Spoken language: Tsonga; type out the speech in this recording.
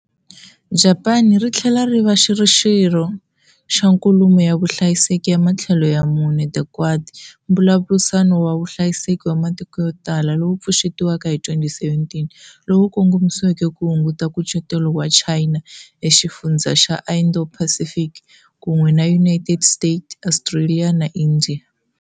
Japani ri tlhela ri va xirho xa Nkulumo ya Vuhlayiseki ya Matlhelo ya Mune, "the Quad", mbulavurisano wa vuhlayiseki wa matiko yo tala lowu pfuxetiweke hi 2017 lowu kongomisiweke ku hunguta nkucetelo wa China eka xifundzha xa Indo-Pacific, kun'we na United States, Australia, na India.